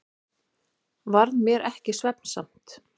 Varð mér ekki svefnsamt.